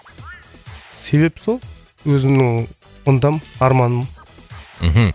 себеп сол өзімнің ынтам арманым мхм